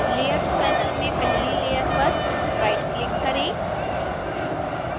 layers panel में पहली layer पर राइटक्लिक करें